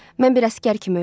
Mən bir əsgər kimi ölürəm.